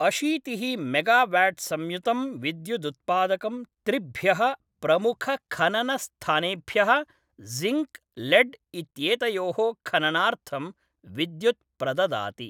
अशीतिः मेगाव्याट्संयुतं विद्युदुत्पादकं त्रिभ्यः प्रमुखखननस्थानेभ्यः जिङ्क्, लेड् इत्येतयोः खननार्थं विद्युत् प्रददाति।